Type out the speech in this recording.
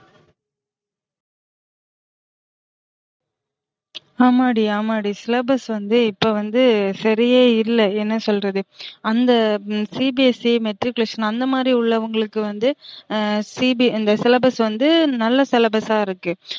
ஆமாடி ஆமாடி syllabus வந்து இப்ப வந்து சரியே இல்ல என்ன சொல்றது அந்த CBSCmatriculation அந்த மாறி உள்ளவுங்களுக்கு வந்து இந்த syllabus வந்து நல்லா syllabus அ இருக்கு